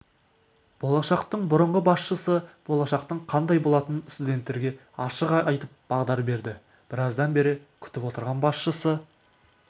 болашақтың бұрыңғы басшысы болашақтың қандай болатынын студенттерге ашық айтып бағдар берді біраздан бері күтіп отырған басшысы